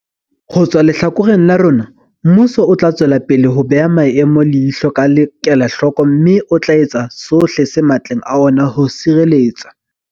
Ho tswa lehlakoreng la rona, mmuso o tla tswelapele ho beha maemo leihlo ka kelahloko mme o tla etsa sohle se matleng a ona ho sireletsa.